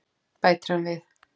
bætir hann við.